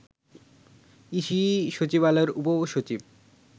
EC সচিবালয়ের উপসচিব